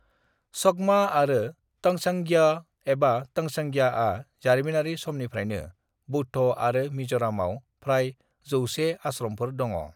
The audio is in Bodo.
चकमा आरो तंचांग्या एबा तंचंग्याआ जारिमिनारि समनिफ्रायनो बौद्ध आरो मिजोरामआव फ्राय जौसे आश्रमफोर दङ'।